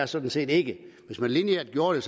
sådan set ikke hvis man lineært gjorde det